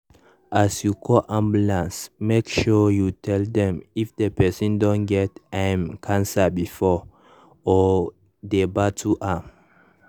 as you call ambulance make sure you tell dem if the person don get um cancer before or dey battle am.